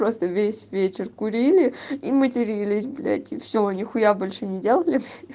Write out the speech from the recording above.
просто весь вечер курили и матерились блять и все нихуя больше не делали